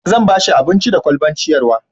zan bashi abinci da kwalban ciyarwa